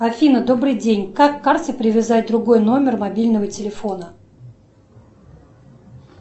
афина добрый день как к карте привязать другой номер мобильного телефона